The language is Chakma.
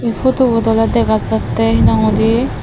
ee photo ole dega jattey he nang hoide.